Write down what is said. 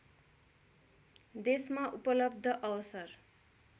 देशमा उपलब्ध अवसर